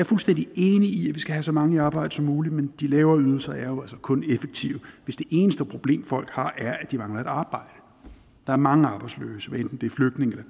fuldstændig enig i at vi skal have så mange i arbejde som muligt men de lavere ydelser er jo altså kun effektive hvis det eneste problem folk har er at de mangler et arbejde der er mange arbejdsløse hvad enten det er flygtninge